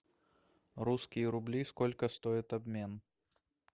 русские рубли сколько стоит обмен